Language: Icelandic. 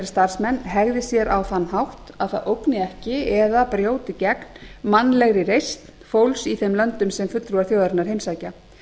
starfsmenn hegði sér á þann hátt að það ógni ekki eða brjóti gegn mannlegri reisn fólks í þeim löndum sem fulltrúar þjóðarinnar heimsækja